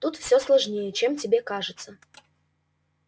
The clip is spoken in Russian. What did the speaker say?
тут все сложнее чем тебе кажется